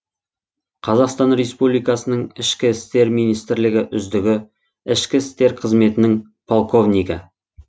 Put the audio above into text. қазақстан республикасының ішкі істер министрлігі үздігі ішкі істер қызметінің полковнигі